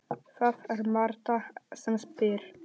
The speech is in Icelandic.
Það er Marta sem spyr.